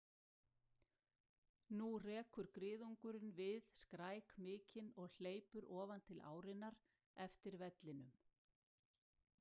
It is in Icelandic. Nú rekur griðungurinn við skræk mikinn og hleypur ofan til árinnar eftir vellinum.